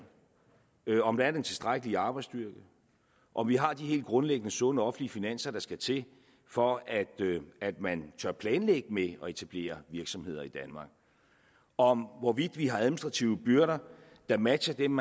om der er den tilstrækkelige arbejdsstyrke om vi har de helt grundlæggende sunde offentlige finanser der skal til for at at man tør planlægge med at etablere virksomheder i danmark om vi har administrative byrder der matcher dem